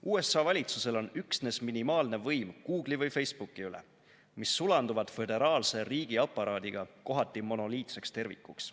USA valitsusel on üksnes minimaalne võim Google’i või Facebooki üle, mis sulanduvad föderaalse riigiaparaadiga kohati monoliitseks tervikuks.